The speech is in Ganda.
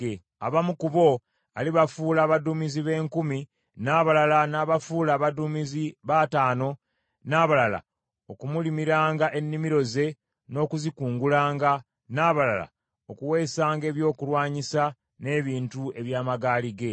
Abamu ku bo alibafuula abaduumizi b’enkumi, n’abalala n’abafuula abaduumizi b’ataano, n’abalala okumulimiranga ennimiro ze n’okuzikungulanga, n’abalala okuweesanga ebyokulwanyisa n’ebintu eby’amagaali ge.